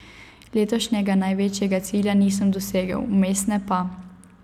Letošnjega največjega cilja nisem dosegel, vmesne pa.